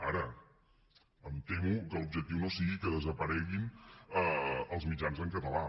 ara em temo que l’objectiu no sigui que desapareguin els mitjans en català